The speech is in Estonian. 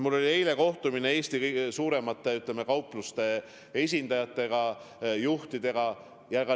Mul oli eile kohtumine ka Eesti kõige suuremate kaupluste esindajatega, juhtidega.